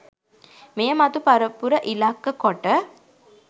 මෙය මතු පරපුර ඉලක්ක කොට